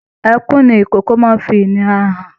Ẹkún ní ikòkò máa n fí ìnira hàn.